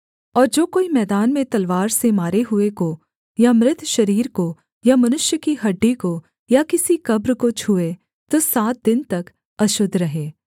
और जो कोई मैदान में तलवार से मारे हुए को या मृत शरीर को या मनुष्य की हड्डी को या किसी कब्र को छूए तो सात दिन तक अशुद्ध रहे